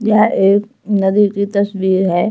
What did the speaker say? यह एक नदी की तस्वीर है।